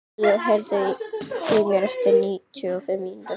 Leo, heyrðu í mér eftir níutíu og fimm mínútur.